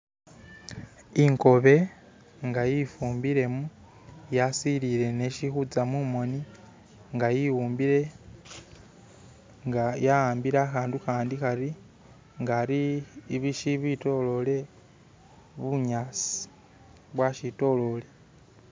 inkobe nga yifumbilemo yasilile neshihutsa mumoni nga yiwumbile nga yawambile ahandu ahandi hari nga ari shibitolele bunyasi, bunyasi bwashitolele